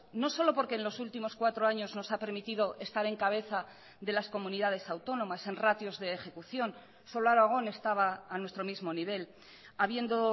no solo porque en los últimos cuatro años nos ha permitido estar en cabeza de las comunidades autónomas en ratios de ejecución solo aragón estaba a nuestro mismo nivel habiendo